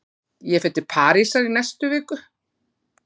Ég fer til Parísar í næstu viku.